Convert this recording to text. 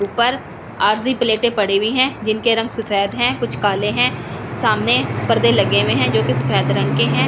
ऊपर आसी प्लेटे पड़ी हुई है जिनके रंग सफ़ेद है कुछ काले है सामने पर्दे लगे हुए है जो कि सफ़ेद रंग के है छत--